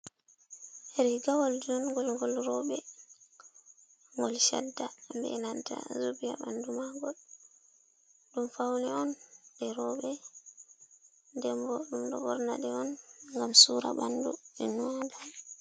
Riigawal jungol ngol rooɓe, ngol shadda be nanta zubi haa ɓandu maagol, ɗum faune on ɗe rooɓe, nden ɓo ɗum ɗo ɓorna ɗe on ngam suura ɓanɗu e maajum.